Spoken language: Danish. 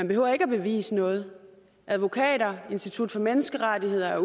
behøver ikke at bevise noget advokater og institut for menneskerettigheder